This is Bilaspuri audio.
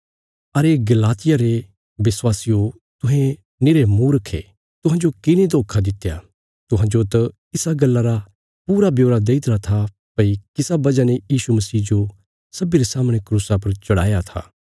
अरे गलातिया रे विश्वासियो तुहें निरे मूर्ख ये तुहांजो किने धोखा दित्या तुहांजो त इसा गल्ला रा पूरा ब्योरा देईतरा था भई किसा वजह ने यीशु मसीह जो सब्बीं रे सामणे क्रूसा पर चढ़ाया था